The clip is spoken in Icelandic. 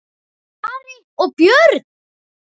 Ari og Björn!